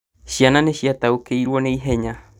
Ciana nĩciataũkĩirwo na ihenya